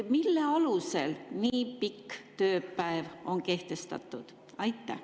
Mille alusel nii pikk tööpäev on kehtestatud?